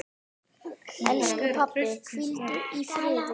Elsku pabbi, hvíldu í friði.